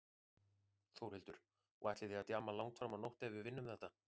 Þórhildur: Og ætlið þið að djamma langt fram á nótt ef við vinnum þetta?